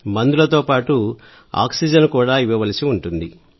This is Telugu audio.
మందులతో పాటు ఆక్సిజన్ కూడా ఇవ్వవలసి ఉంటుంది